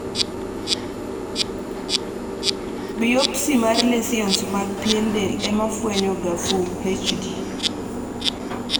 biopsy mar lesions mag pien del ema fwenyoga FUMHD